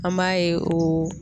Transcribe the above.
An b'a ye o